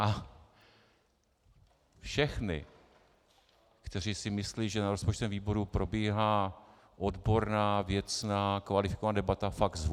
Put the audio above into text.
A všechny, kteří si myslí, že na rozpočtovém výboru probíhá odborná, věcná, kvalifikovaná debata, fakt zvu.